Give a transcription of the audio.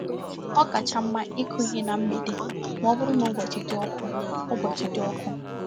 Ọ kacha mma ịkụ ihe na mgbède ma ọ bụrụ na ụbọchi dị ọkụ. ụbọchi dị ọkụ.